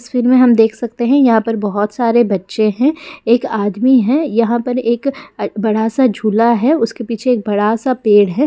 में हम देख सकते हैं यहाँ पर बहुत सारे बच्चे हैं एक आदमी है यहाँ पे एक बड़ा सा झूला है उसके पीछे एक बड़ा सा पेड़ है।